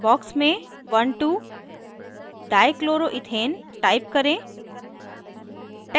box में 12dichloroethane type करें